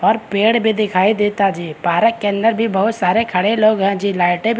और पड़े भी दिखाई देता जी पारक के अंदर भी बहुत सारे खड़े लोग हैं जी लाइटे भी।